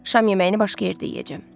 Şam yeməyini başqa yerdə yeyəcəm.